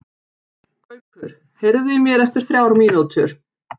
Gaukur, heyrðu í mér eftir þrjár mínútur.